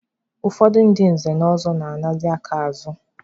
Ụfọdụ ndị nze na ọzọ na-anazị aka azụ.